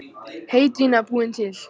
Heydýna búin til.